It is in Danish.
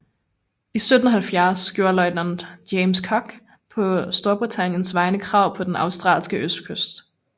I 1770 gjorde løjtnant James Cook på Storbritanniens vegne krav på den australske østkyst